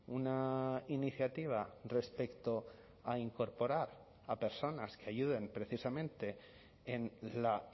una iniciativa respecto a incorporar a personas que ayuden precisamente en la